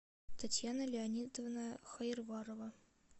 татьяна леонидовна хаерварова